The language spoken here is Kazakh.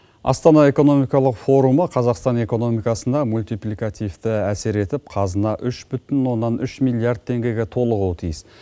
астана экономикалық форумы қазақстан экономикасына мультипликативті әсер етіп қазына үш бүтін оннан үш миллиард теңгеге толуы тиіс